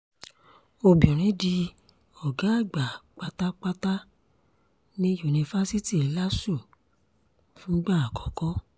obìnrin di ọ̀gá àgbà pátápátá ní yunifásitì lásù fúngbà àkọ́kọ́